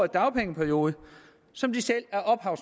dagpengeperiode som de selv er ophav